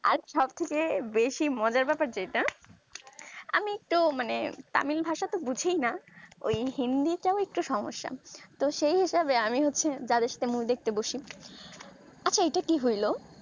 আর সব থেকে বেশি মজার ব্যাপার যেটা আমি একটু মানে tamil ভাষাতো বুঝিই না ওই হিন্দি টাও একটু সমস্যা তো সেই হিসাবে আমি হচ্ছি যাদের সাথে movie দেখতে বসি আচ্ছা এইটা কি হইলো